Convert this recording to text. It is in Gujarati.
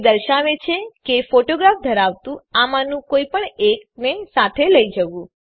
તે દર્શાવે છે કે ફોટોગ્રાફ ધરાવતું આમાંનું કોઈપણ એકને સાથે લઇ જવું